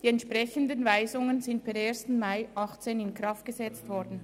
Die entsprechenden Weisungen sind per 1. Mai 2018 in Kraft gesetzt worden.